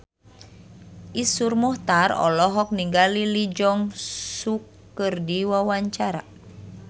Iszur Muchtar olohok ningali Lee Jeong Suk keur diwawancara